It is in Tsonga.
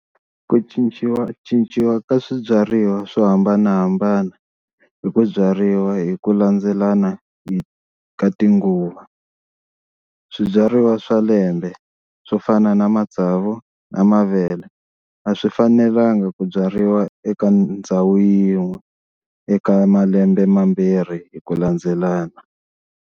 Ku cinciwacinciwa ka swibyariwa swo hambanahambana hi ku byariwa hi ku landzelana hi ka tinguva, swibyariwa swa lembe swo fana na matsavu na mavele a swi fanelanga ku byariwa eka ndhawu yin'we eka malembe mambirhi hi ku landzelelana.